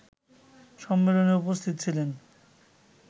সম্মেলনে উপস্থিত ছিলেন